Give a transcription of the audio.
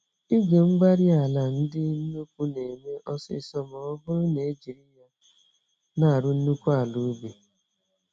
igwe-mgbárí-ala ndị nnukwu némè' ọsịsọ mọbụrụ nejiri yá n'arụ nnukwu ala ubi